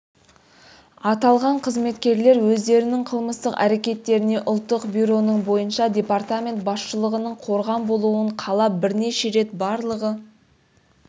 аталған қызметкерлер өздерінің қылмыстық әрекеттеріне ұлттық бюроның бойынша департамент басшылығының қорған болуын қалап бірнеше рет барлығы